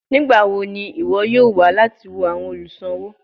Nigbawo ni iwọ yoo wa lati wo awọn oluṣowo?